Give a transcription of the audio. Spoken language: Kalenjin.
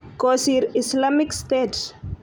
kosiir Islamic state.